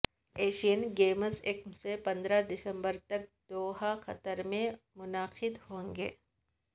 Asian Games یکم سے پندرہ دسمبر تک دوحا قطر میں منعقد ہونگے